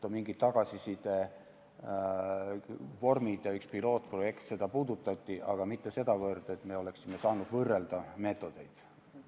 On mingid tagasiside vormid ja üks pilootprojekt, neid puudutati, aga mitte sedavõrd, et me oleksime saanud võrrelda meetodeid.